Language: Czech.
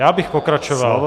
Já bych pokračoval.